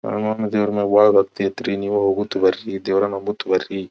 ನಮ್ ಅಮ್ಮ ದೆವ್ರ್ನಗ ಬಹಳ ಭಕ್ತಿ ಅಯ್ತ್ರಿ ನೀವು ಹೋಗುತ್ ಬರಿ ದೇವ್ರನ್ನ ಮುತ್ತ್ ಬರ್ರಿ.